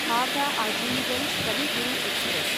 Howrah Azimganj Kavi Guru express